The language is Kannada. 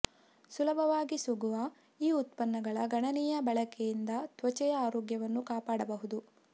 ಸುಲಭವಾಗಿ ಸಿಗುವ ಈ ಉತ್ಪನ್ನಗಳ ಗಣನೀಯ ಬಳಕೆಯಿಂದ ತ್ವಚೆಯ ಆರೋಗ್ಯವನ್ನು ಕಾಪಾಡಬಹುದು